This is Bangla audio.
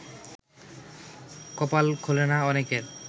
কপাল খোলে না অনেকের